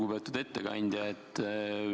Lugupeetud ettekandja!